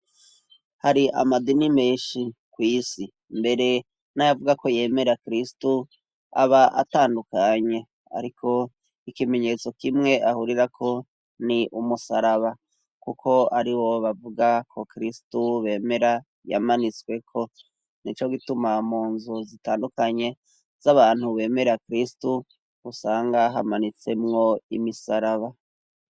hari amadini menshi kw' isi mbere nayavuga ko yemera kristo aba atandukanye ariko ikimenyetso kimwe ahurira ko ni umusaraba kuko ari wo bavuga ko kristo bemera yamanitswe ko ni co gituma mu nzu zitandukanye z'abantu bemera kristo usanga hamanitsemwo imisaraba